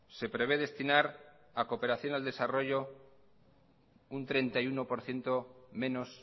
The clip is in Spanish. se prevé destinar a cooperación al desarrollo un treinta y uno por ciento menos